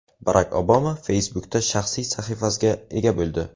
Barak Obama Facebook’da shaxsiy sahifasiga ega bo‘ldi .